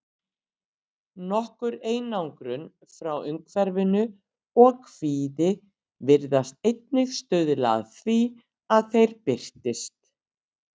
Nokkur einangrun frá umhverfi og kvíði virðast einnig stuðla að því að þeir birtist.